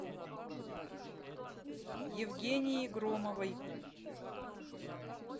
евгении громовой